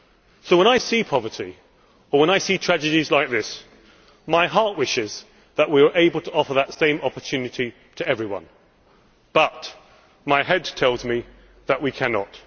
So when I see poverty, or when I see tragedies like this, my heart wishes that we were able to offer that same opportunity to everyone, but my head tells me that we cannot.